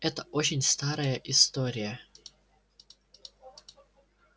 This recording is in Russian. это очень старая история